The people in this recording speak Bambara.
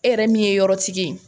E yɛrɛ min ye yɔrɔtigi ye